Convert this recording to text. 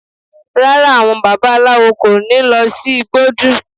Rárá, àwọn babaláwo kò ní lọ sí igbódù